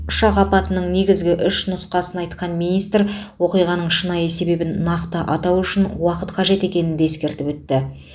ұшақ апатының негізгі үш нұсқасын айтқан министр оқиғаның шынайы себебін нақты атау үшін уақыт қажет екенін де ескертіп өтті